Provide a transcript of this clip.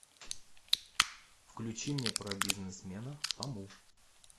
включи мне про бизнесмена фому